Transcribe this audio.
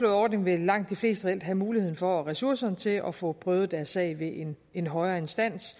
ordning vil langt de fleste reelt have muligheden for og ressourcerne til at få prøvet deres sag ved en højere instans